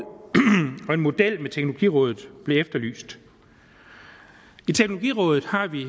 og en model med teknologirådet blev efterlyst i teknologirådet har vi